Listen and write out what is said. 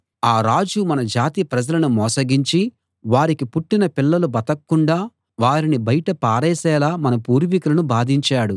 ఆ రాజు మన జాతి ప్రజలని మోసగించి వారికి పుట్టిన పిల్లలు బతక్కుండా వారిని బయట పారేసేలా మన పూర్వీకులను బాధించాడు